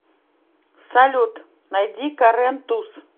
салют найди карен туз